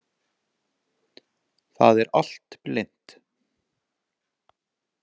Það er allt blint.